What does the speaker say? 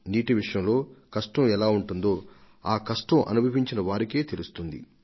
నీటి కొరతను అనుభవించిన వారే జలం సిసలైన విలువను తెలుసుకోగలుగుతారు